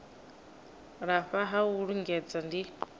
lafha ha u lingedza ndi